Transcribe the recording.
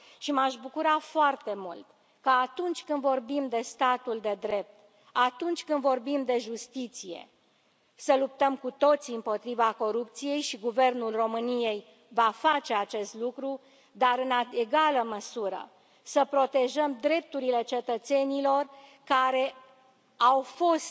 M aș bucura foarte mult ca, atunci când vorbim de statul de drept, atunci când vorbim de justiție, să luptăm cu toții împotriva corupției și Guvernul României va face acest lucru dar, în egală măsură, să protejăm drepturile cetățenilor care au fost